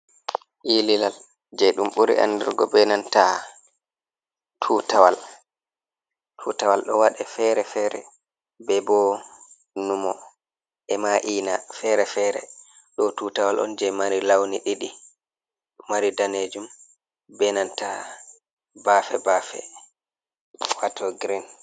Ililal je ɗum buri andirgo benantaa tutawal, tutawal ɗo waɗe fere fere be bo numo e ma’ina fere fere, ɗo tutawal on je mari launi ɗiɗi o mari danejum benanta bafe bafe wato girin.